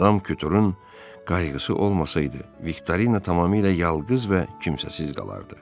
Madam Kuturun qayğısı olmasaydı, Viktorina tamamilə yalqız və kimsəsiz qalardı.